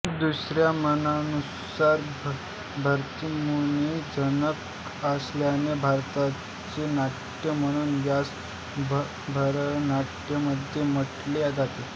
दुसऱ्या मतानुसार भरतमुनी जनक असल्याने भरताचे नाट्य म्हणून यास भरतनाट्यम म्हटले जाते